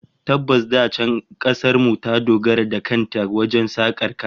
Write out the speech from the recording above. Tabbas, da can kasar mu ta dogara da kan ta wajen sakar kaya